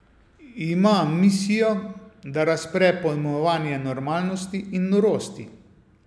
Ima misijo, da razpre pojmovanje normalnosti in norosti.